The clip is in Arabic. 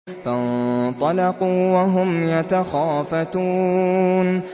فَانطَلَقُوا وَهُمْ يَتَخَافَتُونَ